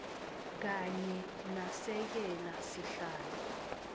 kanye nasekela sihlalo